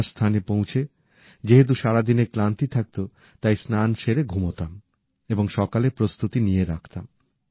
নিবাস স্থানে পৌঁছে যেহেতু সারাদিনের ক্লান্তি থাকতো তাই স্নান সেরে ঘুমোতাম এবং সকালের প্রস্তুতি নিয়ে রাখতাম